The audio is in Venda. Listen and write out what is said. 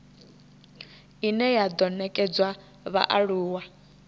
ine ya do nekedzwa vhaaluwa